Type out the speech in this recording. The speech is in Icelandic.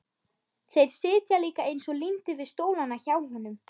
Þeir sitja líka eins og límdir við stólana hjá honum!